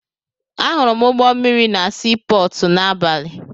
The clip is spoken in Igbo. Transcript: Ahụrụ m ụgbọ mmịrị na sii pọọtụ n'abalị.